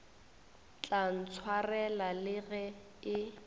tla ntshwarela le ge e